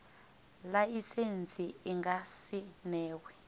laisentsi i nga si newe